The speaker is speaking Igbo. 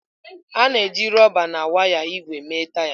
A na-eji rọba na waya ígwè mee taya.